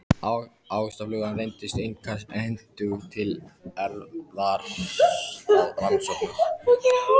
Ávaxtaflugan reyndist einkar hentug til erfðarannsókna.